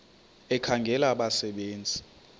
ekhangela abasebe nzi